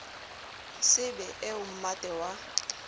se be eo mmate wa